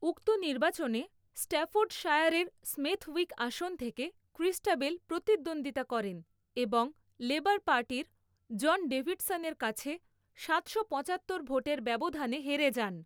উক্ত নির্বাচনে স্ট্যাফোর্ডশায়ারের স্মেথউইক আসন থেকে ক্রিস্টাবেল প্রতিদ্বন্দ্বিতা করেন এবং লেবার পার্টির জন ডেভিডসনের কাছে সাতশো পঁচাত্তর ভোটের ব্যবধানে হেরে যান।